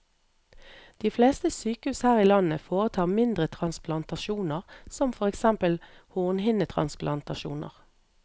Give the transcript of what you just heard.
De fleste sykehus her i landet foretar mindre transplantasjoner, som for eksempel hornhinnetransplantasjoner.